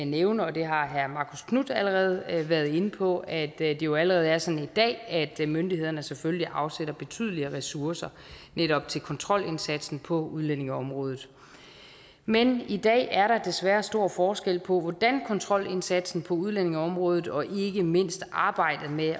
nævne og det har herre marcus knuth allerede været inde på at det jo allerede er sådan i dag at myndighederne selvfølgelig afsætter betydelige ressourcer netop til kontrolindsatsen på udlændingeområdet men i dag er der desværre stor forskel på hvordan kontrolindsatsen på udlændingeområdet og ikke mindst arbejdet med